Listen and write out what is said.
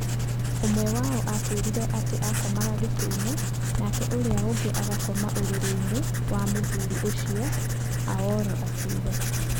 Ũmwe wao atwĩraga atĩ aakomaga gĩtĩinĩ nake ũrĩa ũngĩ aakomaga ũrĩrĩ-inĩ wa mũthuri ũcio, Aoro akiuga.